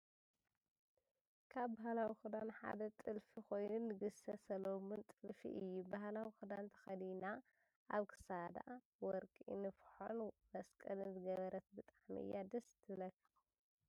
ካብ ባህላዊ ክዳን ሓደ ጥልፊ ኮይኑ ንግስተ ሰለሙን ጥልፊ እዩ። ባህላዊ ክዳን ተከዲና ኣብ ክሳዳ ወርቂ ንፍሖን መስቀልን ዝገበረት ብጣዕሚ እያ ደስ ትብለካ?